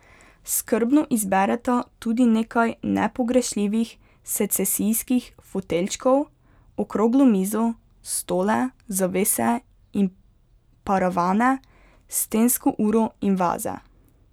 Skrbno izbereta tudi nekaj nepogrešljivih secesijskih foteljčkov, okroglo mizo, stole, zavese in paravane, stensko uro in vaze.